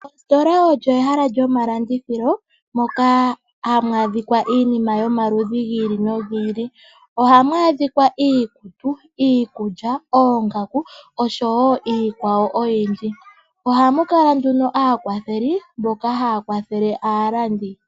Ositola olyo ehala lyomalandithilo, moka hamu adhika iinima yomaludhi gi ili nogi ili. Ohamu adhika iikutu, iikulya, oongaku, oshowo iikwawo oyindji. Ohamu kala nduno aakwatheli, mboka haya kwathele aalandi.